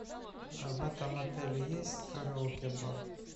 в этом отеле есть караоке бар